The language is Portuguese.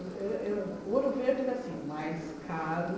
Eu eu Ouro Verde era assim, o mais caro.